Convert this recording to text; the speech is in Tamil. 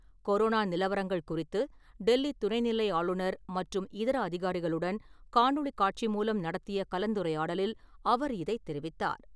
கொரோனா நிலவரங்கள் குறித்து டெல்லி துணைநிலை ஆளுநர் மற்றும் இதர அதிகாரிகளுடன் காணொளி காட்சி மூலம் நடத்திய கலந்துரையாடலில் அவர் இதை தெரிவித்தார்.